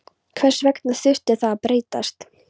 Hvers vegna þurfti það að breytast?